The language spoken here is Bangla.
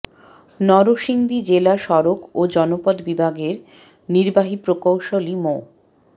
নরসিংদী জেলা সড়ক ও জনপদ বিভাগের নির্বাহী প্রকৌশলী মো